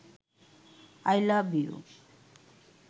I love you